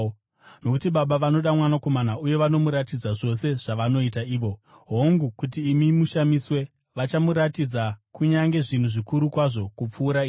Nokuti Baba vanoda Mwanakomana uye vanomuratidza zvose zvavanoita ivo. Hongu, kuti imi mushamiswe, vachamuratidza kunyange zvinhu zvikuru kwazvo kupfuura izvi.